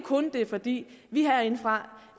kun er fordi vi herindefra